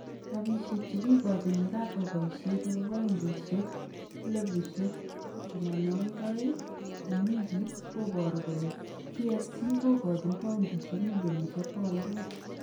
Rabishek chekikochin yekakwai boisiet nebo paundisyek 82,000- en wikiit kobaaru kole PSG kokachin paundishek 400m.